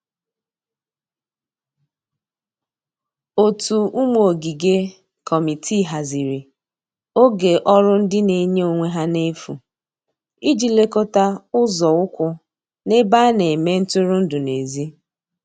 ótu ụmụ ogige/ Kọmitịị hazịrị oge ọrụ ndi n'enye onwe ha n'efu ịji lekota ụzo ụkwụ n'ebe ana eme ntụrụndụ n'ezi